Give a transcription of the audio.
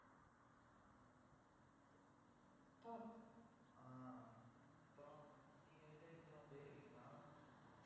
ஆஹ் அப்புறம், நீங்க village க்கு எல்லாம் போயிருக்கீங்களா